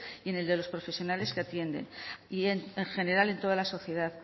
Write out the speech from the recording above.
y en el de los profesionales que atienden y en general en toda la sociedad